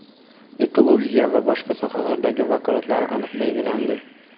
ekologiya va boshqa sohalardagi vakolatlari aniq belgilandi.